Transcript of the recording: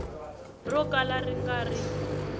ro kala ri nga ri